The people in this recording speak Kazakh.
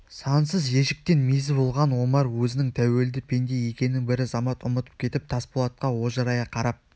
сансыз ежіктен мезі болған омар өзінің тәуелді пенде екенін бір замат ұмытып кетіп тасболатқа ожырая қарап